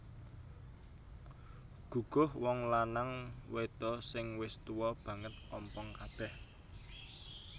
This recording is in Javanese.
Guguh Wong lanang wedho sing wis tuwa banget ompong kabeh